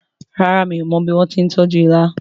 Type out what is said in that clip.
ràrá mi'o mo bí wón tí tọjú ìlà